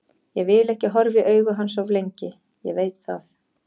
Ég vil ekki horfa í augu hans of lengi, ég veit það.